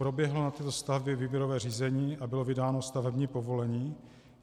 Proběhlo na této stavbě výběrové řízení a bylo vydáno stavební povolení?